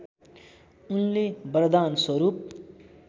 उनले वरदान स्वरूप